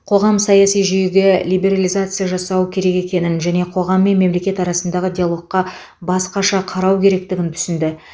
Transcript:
қоғам саяси жүйеге либерализация жасау керек екенін және қоғам мен мемлекет арасындағы диалогқа басқаша қарау керектігін түсінді